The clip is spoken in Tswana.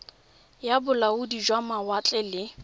ya bolaodi jwa mawatle le